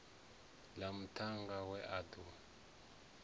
ḽa muṱhannga we a ḓo